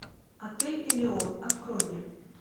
отель элеон открой мне